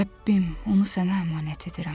Rəbbim, onu sənə əmanət edirəm.